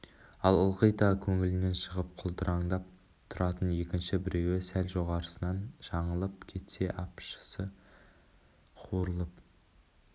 ал ылғи да көңілінен шығып құлдыраңдап тұратын екінші біреуі сәл жорғасынан жаңылып кетсе апшысы қуырылып